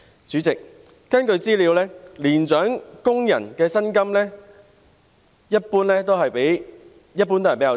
主席，根據資料，年長工人的薪金一般較低。